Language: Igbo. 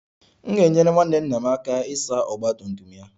M ga-enyere nwanne nna m aka ịsa ọgba tum tum ya